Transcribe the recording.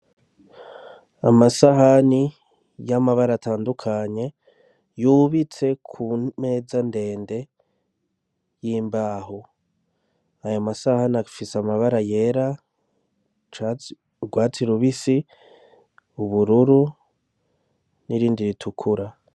Amasahani y'amabara atandukanye yubitse ku meza ndende y'imbaho. Ayo masahani afise amabara yera, urwatsi rubisi, ubururu n'irindi ritukura.